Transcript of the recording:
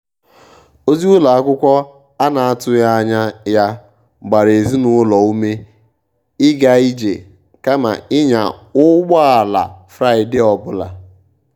ozi ụlọ akwụkwọ a na-atụghị anya ya gbara ezinụlọ ume ịga ije kama ịnya ụgbọ ala fraịde ọ bụla.